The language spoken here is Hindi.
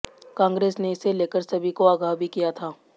कांग्रेस ने इसे लेकर सभी को आगाह भी किया था